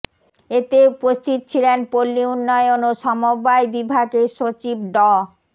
এতে উপস্থিত ছিলেন পল্লী উন্নয়ন ও সমবায় বিভাগের সচিব ড